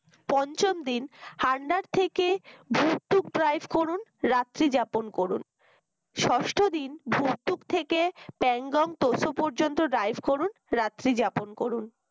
পঞ্চম দিন হান্ডার থেকে ভর্তুক GAIS করুন রাত্রি যাপন করুন ষষ্ঠ দিন ভর্তুক থেকে প্যাংগং পোস্ত পর্যন্ত GAIS করুন রাত্রি যাপন করুন।